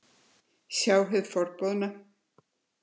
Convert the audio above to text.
Sjá hið forboðna.